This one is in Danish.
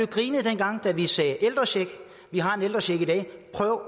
grinet dengang vi sagde ældrecheck vi har en ældrecheck i dag prøv at